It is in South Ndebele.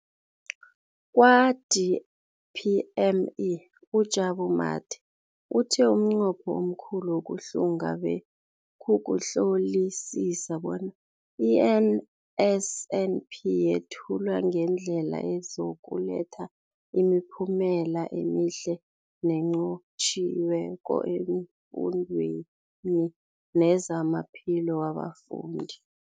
Kwa-DPME, uJabu Mathe, uthe umnqopho omkhulu wokuhlunga bekukuhlolisisa bona i-NSNP yethulwa ngendlela ezokuletha imiphumela emihle nenqotjhiweko efundweni nezamaphilo wabafundi.